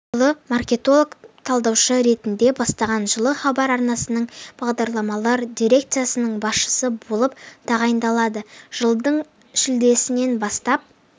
жылы маркетолог-талдаушы ретінде бастаған жылы хабар арнасының бағдарламалар дерекциясының басшысы болып тағайындалады жылдың шілдесінен бастап